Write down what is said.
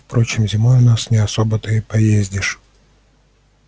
впрочем зимой у нас не особо-то и поездишь